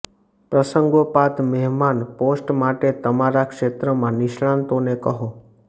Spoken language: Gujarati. પ્રસંગોપાત મહેમાન પોસ્ટ માટે તમારા ક્ષેત્રમાં નિષ્ણાતોને કહો